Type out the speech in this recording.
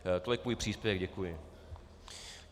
Tolik můj příspěvek, děkuji.